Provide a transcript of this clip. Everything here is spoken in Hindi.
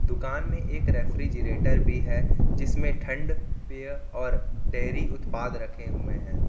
दुकान में एक रेफ्रिजरेटर भी है जिसमें ठंड बीयर और डेयरी उत्पाद रखे हुए हैं।